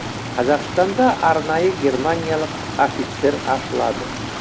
қазақстанда арнайы германиялық офицер ашылады